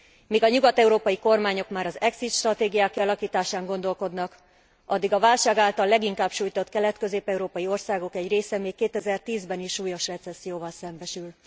Míg a nyugat európai kormányok már az exit stratégiák kialakításán gondolkodnak, addig a válság által leginkább sújtott kelet közép európai országok egy része még 2010 ben is súlyos recesszióval szembesül.